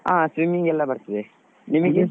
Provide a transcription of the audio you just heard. ಹ swimming ಎಲ್ಲ ಬರ್ತದೆ. ನಿಮಿಗೆ?